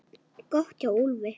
Gott hjá Úlfi!